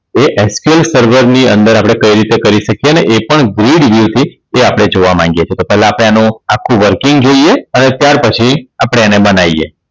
તો ftl સર્વરની અંદર આપણે કઈ રીતે શકીયે અને એ પણ ભીડવયથી તે આપણે જોવા માંગીએ છે. તો પેલા આપણે એનું આખું Working જોઈએ અને ત્યાર પછી આપણે એને બનાયે